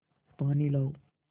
पानी लाओ